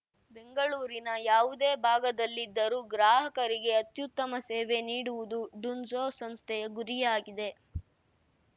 ಬೆಂಗಳೂರಿನ ಯಾವುದೇ ಭಾಗದಲ್ಲಿದ್ದರು ಗ್ರಾಹಕರಿಗೆ ಅತ್ಯುತ್ತಮ ಸೇವೆ ನೀಡುವುದು ಡುನ್ಝೋ ಸಂಸ್ಥೆಯ ಗುರಿಯಾಗಿದೆ